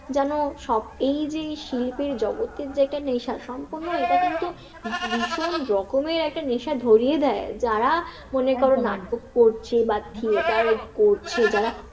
যেন সব এই যে এই শিল্পের জগতের যে একটা নেশা, সম্পূর্ণ এটা কিন্তু ভীষণ রকমের একটা নেশা ধরিয়ে দেয়, যারা মনে করো নাটক করছে বা থিয়েটার করছে, যারা